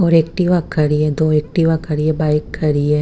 और एक्टिवा खड़ी है दो एक्टिवा खड़ी है बाइक खड़ी है।